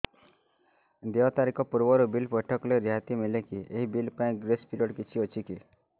ଦେୟ ତାରିଖ ପୂର୍ବରୁ ବିଲ୍ ପୈଠ କଲେ ରିହାତି ମିଲେକି ଏହି ବିଲ୍ ପାଇଁ ଗ୍ରେସ୍ ପିରିୟଡ଼ କିଛି ଅଛିକି